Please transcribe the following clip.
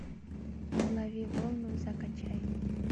лови волну закачай